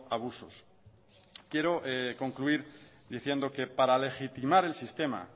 abusos quiero concluir diciendo que para legitimar el sistema